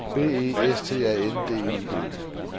B E S T A N D I G